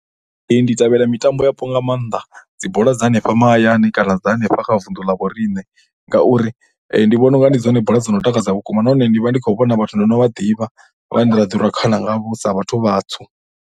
Ndi ṱalela mitambo yapo nga maanḓa dzi bola dza hanefha mahayani kana dza hanefha kha vundu la vho riṋe ngauri ndi vhona u nga ndi dzone bola dzo no takadza vhukuma nahone ndi vha ndi khou vhona vhathu ndo no vha ḓivha vhane ra ḓi rwa khana ngavho sa vhathu vhatswu.